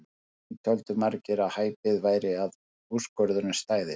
Því töldu margir að hæpið væri að úrskurðurinn stæðist.